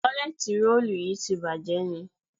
Tọ́ílẹ́tìì rolù yí ti bàjé ni?